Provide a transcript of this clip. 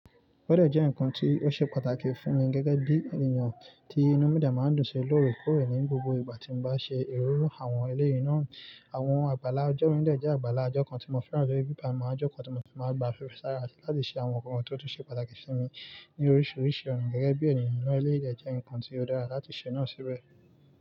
Bódè jẹ́ nǹkan tí ó ṣe pàtàkì fún mi gẹ́gẹ́ bí ènìyàn tí inú mi dẹ máa ń dùn si lóore kóòrè ní gbogbo ìgbà tí mo bá ṣe ìru àwọn eléyìí náà. Àwọn àgbàlá ajó mi dẹ̀ jẹ́ àgbàlá ajó kan tí mo fẹ́ràn tó je pe igbá mi máa jó ko tí mo ti máa gbà fefe sára láti ṣe àwọn nǹkan tó tún ṣe pàtàkì sí mi ní oríṣiríṣi ọ̀nà gẹ́gẹ́ bí ènìyàn irú ẹlẹ́yìí dẹ̀ jẹ́ nǹkan tí ó dára láti ṣẹ̀ náà síbẹ̀.